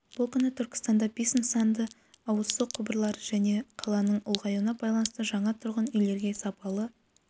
бұл күні түркістанда бес нысанда ауыз су құбырлары және қаланың ұлғаюына байланысты жаңа тұрғын үйлерге сапалы